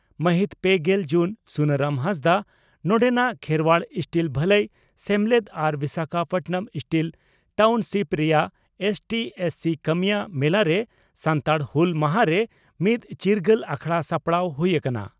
ᱢᱟᱹᱦᱤᱛ ᱯᱮᱜᱮᱞ ᱡᱩᱱ (ᱥᱩᱱᱟᱨᱟᱢ ᱦᱟᱸᱥᱫᱟᱜ) ᱺ ᱱᱚᱰᱮᱱᱟᱜ ᱠᱷᱮᱨᱚᱣᱟᱲ ᱥᱴᱤᱞ ᱵᱷᱟᱹᱞᱟᱹᱭ ᱥᱮᱢᱞᱮᱫ ᱟᱨ ᱵᱤᱥᱟᱠᱷᱟᱯᱟᱴᱱᱟᱢ ᱥᱴᱤᱞ ᱴᱟᱣᱱᱥᱤᱯ ᱨᱮᱭᱟᱜ ᱮᱥᱹᱴᱤᱹ/ᱮᱥᱹᱥᱤᱹ ᱠᱟᱹᱢᱤᱭᱟᱹ ᱢᱮᱞᱟᱨᱮ ᱥᱟᱱᱛᱟᱲ ᱦᱩᱞ ᱢᱟᱦᱟᱨᱮ ᱢᱤᱫ ᱪᱤᱨᱜᱟᱹᱞ ᱟᱠᱷᱲᱟ ᱥᱟᱯᱲᱟᱣ ᱦᱩᱭ ᱟᱠᱟᱱᱟ ᱾